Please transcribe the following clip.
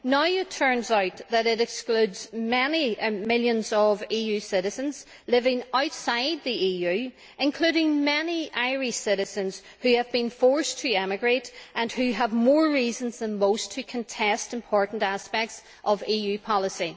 Now it turns out that it excludes many millions of EU citizens living outside the EU, including many Irish citizens who have been forced to emigrate and who have more reasons than most to contest important aspects of EU policy.